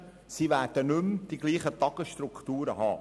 Sie werden nicht mehr dieselben Tagesstrukturen haben.